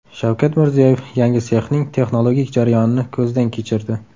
Shavkat Mirziyoyev yangi sexning texnologik jarayonini ko‘zdan kechirdi.